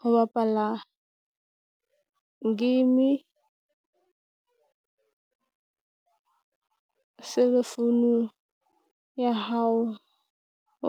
Ho bapala game cell phone ya hao